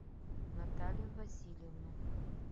наталью васильевну